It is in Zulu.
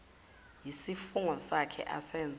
yisifungo sakhe asenze